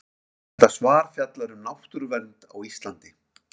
Þetta svar fjallar um náttúruvernd á Íslandi.